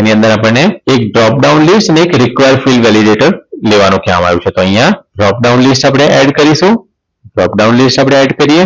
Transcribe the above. એની અંદર આપણને એક job down list અને એક require fild validater લેવાનું કહેવામાં આવ્યું છે તો અહીંયા job down list આપણે add કરીશુ job down list આપણે add કરીએ